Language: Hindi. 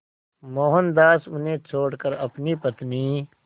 मोहनदास उन्हें छोड़कर अपनी पत्नी